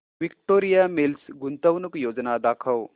Victoria Mills गुंतवणूक योजना दाखव